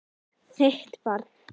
Þitt barn.